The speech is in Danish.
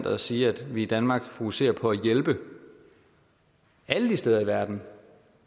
at sige at vi i danmark fokuserer på at hjælpe alle de steder i verden